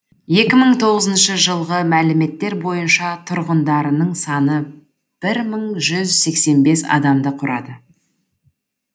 екі мың тоғызыншы жылғы мәліметтер бойынша тұрғындарының саны бір мың жүз сексен бес адамды құрады